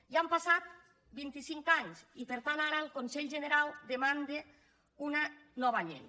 ja han passat vint·i·cinc anys i per tant ara el con·selh generau demanda una nova llei